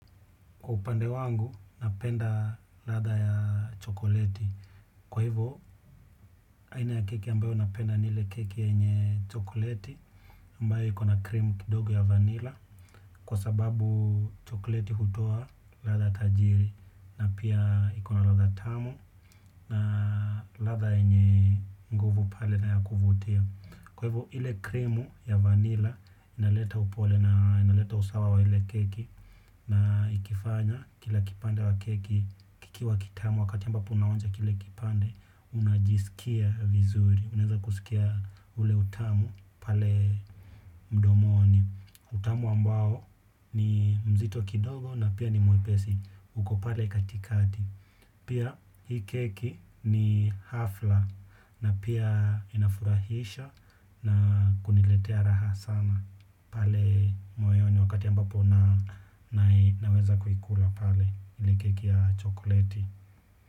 Kwa upande wangu, napenda ladha ya chokleti. Kwa hivyo, aina ya keki ambayo napenda ni ile keki yenye chokleti, ambayo iko na krimu kidogo ya vanilla, kwa sababu chokleti hutoa ladha tajiri, na pia ikona ladha tamu, na ladha yenye nguvu pale na ya kuvutia. Kwa hivyo, ile krimu ya vanilla, inaleta upole na inaleta usawa wa ile keki, na ikifanya kila kipande wa keki kikiwa kitamu wakati mbapo unaonja kile kipande unajisikia vizuri. Unaeza kusikia ule utamu pale mdomoni. Utamu ambao ni mzito kidogo na pia ni mwepesi uko pale katikati. Pia hii keki ni hafla na pia inafurahisha na kuniletea raha sana. Pale mweo ni wakati ambapo naweza kuikula pale ile keki ya chokleti.